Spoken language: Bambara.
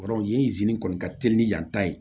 Yɔrɔ yen kɔni ka teli ni yan ta ye